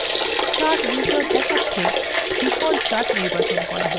chart wizard দেখাচ্ছে the default chart নির্বাচন করা হয়েছে